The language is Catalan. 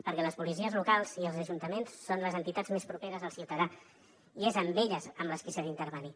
perquè les policies locals i els ajuntaments són les entitats més properes al ciutadà i és amb elles amb les qui s’ha d’intervenir